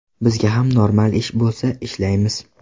Bizga ham normal ish bo‘lsa ishlaymiz.